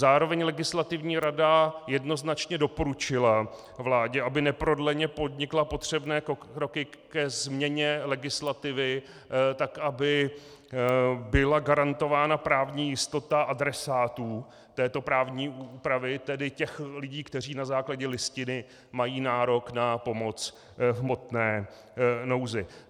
Zároveň Legislativní rada jednoznačně doporučila vládě, aby neprodleně podnikla potřebné kroky ke změně legislativy tak, aby byla garantována právní jistota adresátů této právní úpravy, tedy těch lidí, kteří na základě Listiny mají nárok na pomoc v hmotné nouzi.